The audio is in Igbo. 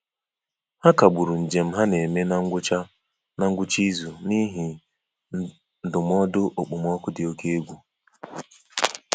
Ha kagburu njem ha na-eme na ngwụcha na ngwụcha izu n'ihi ndụmọdụ okpomọkụ dị oke egwu.